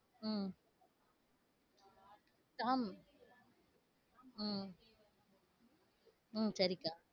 உம் tom உம் உம் சரி